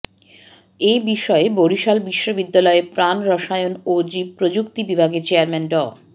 এ বিষয়ে বরিশাল বিশ্ববিদ্যালয়ের প্রাণরসায়ন ও জীবপ্রযুক্তি বিভাগের চেয়ারম্যান ড